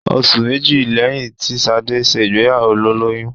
Oṣù méjì lẹ́yìn tí Ṣadé ṣe ìgbéyàwó ló lóyún.